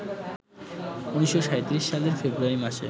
১৯৩৭ সালের ফেব্রুয়ারি মাসে